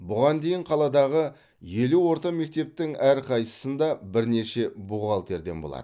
бұған дейін қаладағы елу орта мектептің әрқайсысында бірнеше бухгалтерден болды